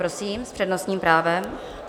Prosím s přednostním právem.